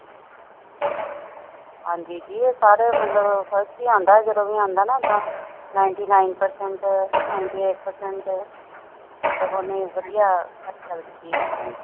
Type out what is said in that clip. ਹਾਂ ਜੀ, ਸਾਰੇ ਮਤਲਬ ਫਸਟ ਹੀ ਆਉਂਦਾ ਜਦੋਂ ਵੀ ਆਉਂਦਾ ਐਦਾ ninety nine percent, ninety eight percent ਮਤਬਲ ਉਹਨੇ ਵਧੀਆ ਹਾਸਿਲ ਕੀਤੀ ਹੈ।